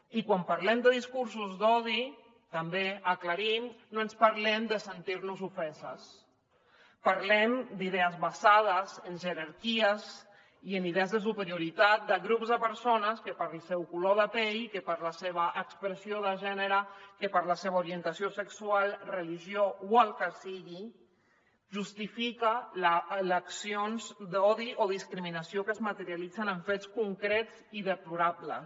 i quan parlem de discursos d’odi també ho aclarim no parlem de sentir nos ofeses parlem d’idees basades en jerarquies i en idees de superioritat de grups de persones que pel seu color de pell que per la seva expressió de gènere que per la seva orientació sexual religió o el que sigui justifiquen accions d’odi o discriminació que es materialitzen en fets concrets i deplorables